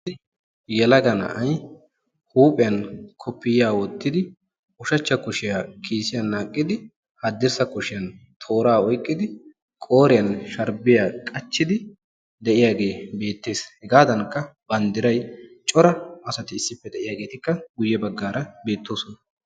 yelaga na'ay huuphiyan koppiyiyya wottidi, ushshachcha kushiya ba kiisiyan naaqidi, haddirssa kushiyaan toora oyqqidi qooriyan sharbbiya qachchid de'iyaage beettees. hegadankka banddiray cora asati issippe de'iyaageetikka guyye baggaara beettosona.